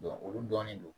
olu dɔnnen don